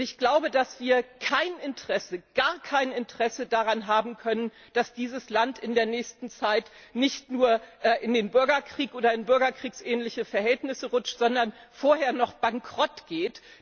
Und ich glaube, dass wir gar kein Interesse daran haben können, dass das Land in der nächsten Zeit nicht nur in den Bürgerkrieg und in bürgerkriegsähnliche Verhältnisse rutscht, sondern vorher noch bankrottgeht.